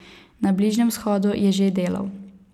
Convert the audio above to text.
Na Bližnjem vzhodu je že delal.